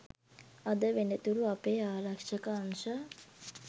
අද වෙනතුරු අපේ ආරක්ෂක අංශ